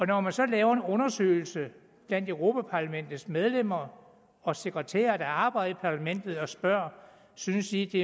når man så laver en undersøgelse blandt europa parlamentets medlemmer og sekretærer der arbejder parlamentet og spørger synes i det